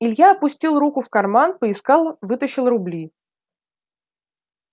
илья опустил руку в карман поискал вытащил рубли